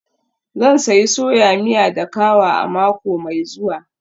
Zan sayi soya miya da kawa a mako mai zuwa.